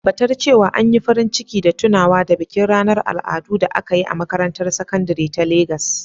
Tabbatar cewa an yi farin ciki da tunawa da bikin ranar al'adu da aka yi a makarantar sakandare ta Legas.